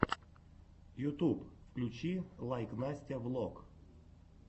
ютуб включи лайк настя влог